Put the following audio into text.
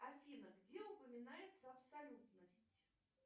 афина где упоминается абсолютность